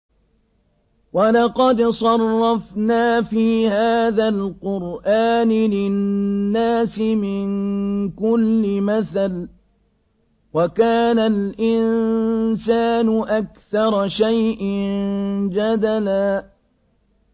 وَلَقَدْ صَرَّفْنَا فِي هَٰذَا الْقُرْآنِ لِلنَّاسِ مِن كُلِّ مَثَلٍ ۚ وَكَانَ الْإِنسَانُ أَكْثَرَ شَيْءٍ جَدَلًا